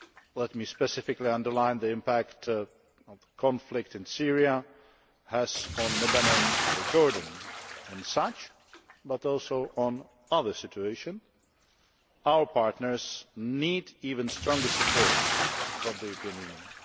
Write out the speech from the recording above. Let me specifically underline the impact the conflict in Syria has on Lebanon or Jordan. In such but also in other situations our partners need even stronger support from the European Union.